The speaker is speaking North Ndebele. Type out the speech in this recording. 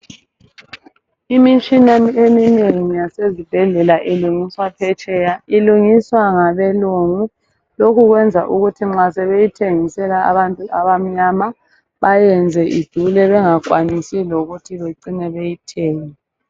Imitshina eminengi yasezibhedlela ilungiswa phetsheya. Ilungiswa ngabelungu. Lokhu kwenza ukuthi nxa sebeyithisela abantu abamnyama bayenze idule bengakwanisi lokuthi becine beyithengile.